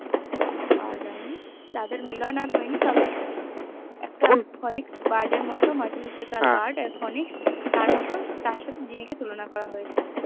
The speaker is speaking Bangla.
খোঁজ পাওয়া যায়নি তাদের মিলন এ হয়নি তবে একটা ফোনিক বীরদের মির্কাইসদের কার্ড তার সঙ্গে জিম্মি কে তুলনা করা হয়েছে